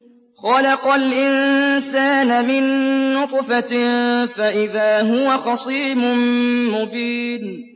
خَلَقَ الْإِنسَانَ مِن نُّطْفَةٍ فَإِذَا هُوَ خَصِيمٌ مُّبِينٌ